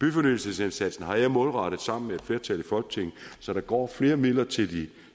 byfornyelsesindsatsen har jeg målrettet sammen med et flertal i folketinget så der går flere midler til de